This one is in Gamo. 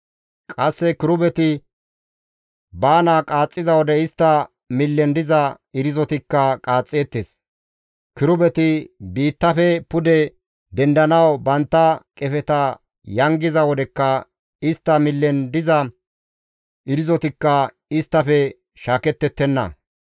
Qasse kirubeti baana qaaxxiza wode istta millen diza irzotikka qaaxxeettes; kirubeti biittafe pude dendanawu bantta qefeta yangiza wodekka istta millen diza irzotikka isttafe shaakettettenna.